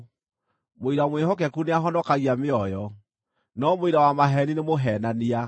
Mũira mwĩhokeku nĩahonokagia mĩoyo, no mũira wa maheeni nĩ mũheenania.